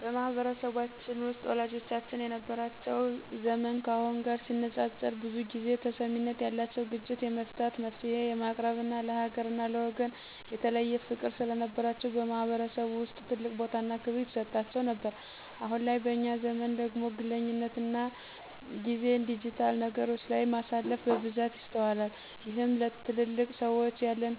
በማህበረሰባችን ውስጥ ወላጆቻችን የነበራቸው ዘመን ካሁኑ ጋር ሲነፃፀር ብዙ ጊዜ ተሰሚነት ያላቸውና ግጭት የመፍታት፣ መፍትሔ የማቅረብና ለሀገርና ለወገን የተለየ ፍቅር ስለነበራቸው በማህበረሰቡ ውስጥ ትልቅ ቦታና ክብር ይሰጣቸው ነበር። አሁን ላይ በእኛ ዘመን ደግሞ ግለኝነትና ጊዜን ዲጂታል ነገሮች ላይ ማሳለፍ በብዛት ይስተዋላል። ይህም ለትልልቅ ሰዎች ያለን